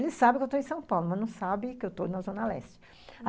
Eles sabem que eu estou em São Paulo, mas não sabem que eu estou na Zona Leste.